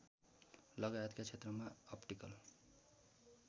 लगायतका क्षेत्रमा अप्टिकल